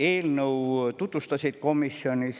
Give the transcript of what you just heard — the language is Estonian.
Eelnõu tutvustasid komisjonis